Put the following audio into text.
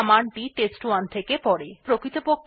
কিন্তু প্রকৃতপক্ষে এটা জানে না যে standardin ই কোথা থেকে তথ্য আসছে